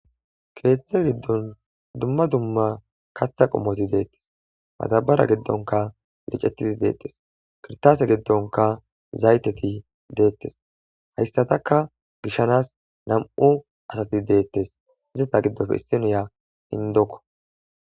keethethe giddon dumma dumma katha qommoti deettes matabara geddonka licetidi deettes kirtaase giddonka zayteti deettes hayssataka gishanas nam'u asati deettes izita giddofe issiniya indokko.